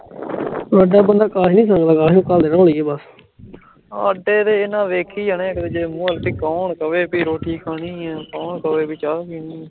ਸਾਡੇ ਤੇ ਐਨਾ ਵੇਖੀ ਜਾਣੇ ਇਕ ਦੂਜੇ ਦੇ ਮੂੰਹ ਵਲ ਭੀ ਕੌਣ ਕਵੇ ਕੇ ਰੋਟੀ ਖਾਣੀ ਐ ਕੌਣ ਕਵੇ ਭੀ ਚਾ ਪੀਣੀ ਐ